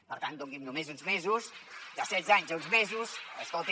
per tant doni’m només uns mesos de setze anys a uns mesos escolti